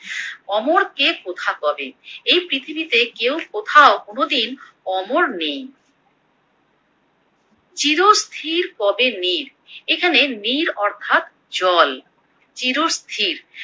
অমর কে কোথা কবে, এই পৃথিবীতে কেউ কোথাও কোনোদিন অমর নেই, চিরস্থির কবে নীর, এখানে নীর এখানে নীর অর্থাৎ জল। চিরস্থির